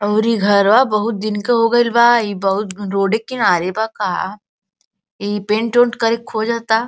और ई घरवा बहुत दिन का हो गइल बा। ई बहुत रोड़े क किनारे बा का। ई पेंट -उंट करे के खोजता।